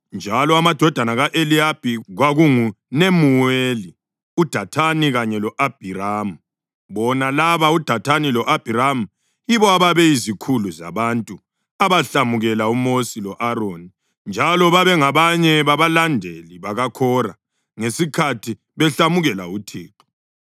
njalo amadodana ka-Eliyabi kwakunguNemuweli, uDathani kanye lo-Abhiramu. Bona laba uDathani lo-Abhiramu yibo ababeyizikhulu zabantu abahlamukela uMosi lo-Aroni njalo babengabanye babalandeli bakaKhora ngesikhathi behlamukela uThixo.